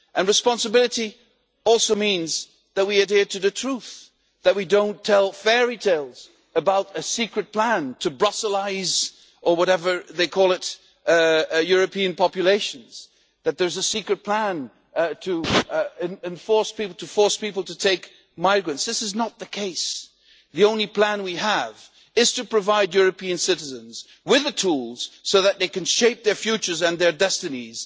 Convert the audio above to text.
And responsibility also means that we adhere to the truth, that we do not tell fairy tales about a secret plan to Brusselise' or whatever they call it European populations, or about a secret plan to force people to take migrants. This is not the case. The only plan we have is to provide European citizens with the tools so that they can shape their futures and their destinies